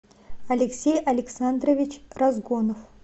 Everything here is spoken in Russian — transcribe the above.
алексей александрович разгонов